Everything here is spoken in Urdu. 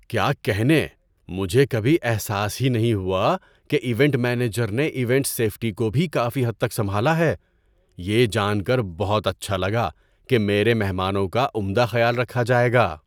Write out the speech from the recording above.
کیا کہنے، مجھے کبھی احساس ہی نہیں ہوا کہ ایونٹ مینیجر نے ایونٹ سیفٹی کو بھی کافی حد تک سنبھالا ہے! یہ جان کر بہت اچھا لگا کہ میرے مہمانوں کا عمدہ خیال رکھا جائے گا۔